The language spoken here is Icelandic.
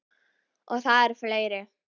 Og það eru fleiri.